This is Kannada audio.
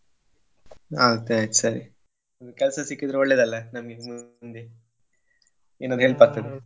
ಹಾ ಆಯ್ತ್ ಸರಿ ಒಂದ್ ಕೆಲ್ಸ ಸಿಕ್ಕಿದ್ರೆ ಒಳ್ಳೇದ್ ಅಲ ನಮ್ಗೆ ಮು~ ಮುಂದೆ ಏನರ .